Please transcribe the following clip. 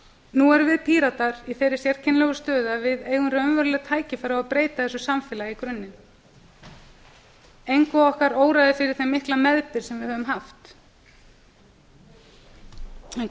nú erum við píratar í þeirri sérkennilegu stöðu að við eigum raunveruleg tækifæri á að breyta þessu samfélagi í grunninn ekkert okkar óraði fyrir þeim mikla meðbyr sem við höfum haft en